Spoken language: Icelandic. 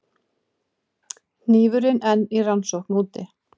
Hnífurinn enn í rannsókn úti